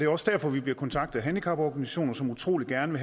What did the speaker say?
også derfor vi bliver kontaktet af handicaporganisationer som utrolig gerne